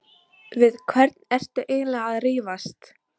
Við hvern ertu eiginlega að rífast?